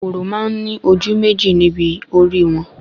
Kòkòrò máa ní ojú méjì ni ibi orí wọn